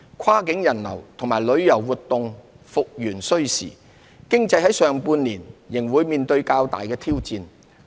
跨境人流和旅遊活動復元需時，經濟在上半年仍會面對較大挑戰。